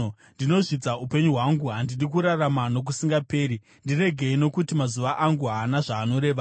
Ndinozvidza upenyu hwangu, handidi kurarama nokusingaperi. Ndiregei nokuti mazuva angu haana zvaanoreva.